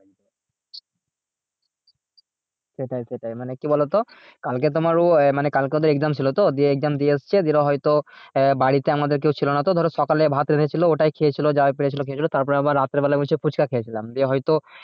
সেটাই সেটাই মানে কি বলতো? কালকে তোমার্ ও মানে কালকে ওদের exam ছিল তো দিয়ে exam দিয়ে এসেছে দিয়ে হয়তো আহ বাড়িতে আমাদের কেউ ছিল না তো ধরো সকালে ভাত রেঁধেছিলি ওটাই খেয়েছিল যাই পেরে ছিল খেয়েছিল তারপর আবার রাতের বেলা বলছে ফুচকা খেয়ে ছিলাম দিয়ে হয়ত